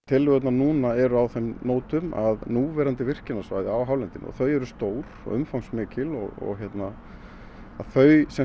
tillögur núna eru á þeim nótum að núverandi virkjunarsvæði á hálendinu eru stór og umfangsmikil og að þau